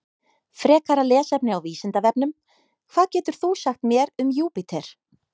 Frekara lesefni á Vísindavefnum: Hvað getur þú sagt mér um Júpíter?